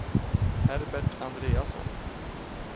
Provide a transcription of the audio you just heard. Herbert Andreasson